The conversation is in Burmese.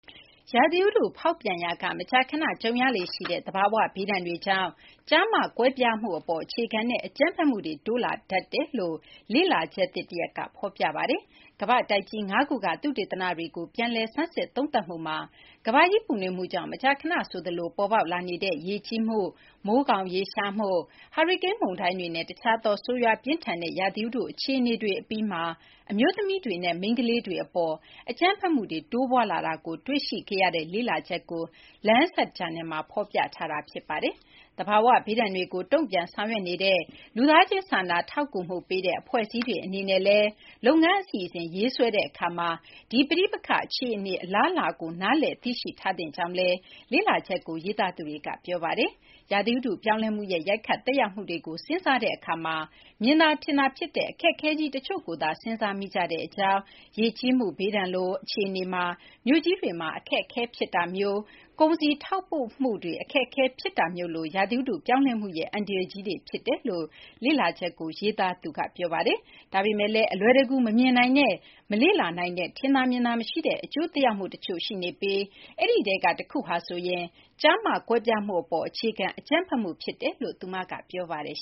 ရာသီဥတုဖောက်ပြန်ရာက မကြာခဏကြုံရလေ့ရှိတဲ့ သဘာ၀ ဘေးဒဏ်တွေကြောင့် ကျား-မ ကွဲပြားမှုအပေါ် အခြေခံတဲ့ အကြမ်းဖက်မှုတွေ တိုးလာတတ်တယ်လို့ လေ့လာချက်သစ် တရပ်က ဖော်ပြပါတယ်။ ကမ္ဘာ့တိုက်ကြီး ၅ ခုက သုတေသနတွေကို ပြန်လည်ဆန်းစစ် သုံးသပ်မှုမှာ ကမ ္ဘာကြီး ပူနွေးမှုကြောင့် မကြာခဏ ဆိုသလို ပေါ်ပေါက်လာနေတဲ့ ရေကြီးမှု၊ မိုးခေါင်ရေရရှားမှု၊ ဟာရီကိန်း မုန်တိုင်းတွေနဲ့ တခြားသော ဆိုးရွား ပြင်းထန်တဲ့ ရာသီဥတု အခြေအနေတွေ အပြီးမှာ အမျိုးသမီးတွေနဲ့ မိန်းကလေးတွေ အပေါ် အကြမ်းဖက်မှုတွေ တိုးပွားလာတာကို တွေ့ရှိခဲ့ရတဲ့ လေ့လာချက်ကို Lancet Planetary Health ဂျာနယ်မှာ ဖော်ပြထားတာ ဖြစ်ပါတယ်။ သဘာ၀ ဘေးဒဏ်တွေကို တုံ့ပြန် ဆောင်ရွက်နေတဲ့ လူသားချင်း စာနာထောက်ကူမှု ပေးတဲ့ အဖွဲ့အစည်းတွေ အနေနဲ့လည်း လုပ်ငန်း အစီအစဉ် ရေးဆွဲတဲ့ အခါမှာ ဒီ ပဋိပက္ခ အခြေအနေ အလားအလာကို နားလည် သိရှိထားသင့်ကြောင်းလည်း လေ့လာချက်ကို ရေးသားသူတွေက ပြောဆိုထားပါတယ်။ ရာသီဥတု ပြောင်းလဲမှုရဲ့ ရိုက်ခတ် သက်ရောက်မှုတွေကို စဉ်းစားတဲ့ အခါမှာ မြင်သာ ထင်သာ ဖြစ်တဲ့ အခက်အခဲကြီး တချို့ကိုသာ စဉ်စားမိကြကြောင်း၊ ရေကြီးမှု ဘေးဒဏ်လို အခြေအနေမှာ မြို့ကြီးတွေမှာ အခက်အခဲတွေ ဖြစ်တာမျိုး၊ ကုန်စည် ထောက်ပို့မှုတွေမှာ အခက်အခဲတွေ ဖြစ်တာမျိုးလို ရာသီဥတု ပြောင်းလဲမှုရဲ့ အန္တရာယ်ကြီးတွေ ဖြစ်တယ်လို့ လေ့လာချက်ကို ရေးသားသူ ကနေဒါ နိုင်ငံ Simon Fraser တက္ကသိုလ်က အများပြည်သူ ကျန်းမာရေးဆိုင်ရာ သုတေသနမှူး Sarah Savić Kallesøe က ပြောပါတယ်။ ဒါပေမယ့်လည်း အလွယ်တကူ မမြင်နိုင်တဲ့ မလေ့လာနိုင်တဲ့ ထင်သာမြင်သာ မရှိတဲ့ အကျိုးသက်ရောက်မှု တချို့ရှိနေပြီး အဲဒီထဲက တခုဟာဆိုရင် ကျား-မ ကွဲပြားမှုအပေါ် အခြေခံ အကြမ်းဖက်မှု ဖြစ်တယ်လို့လည်း သူက ပြောပါတယ်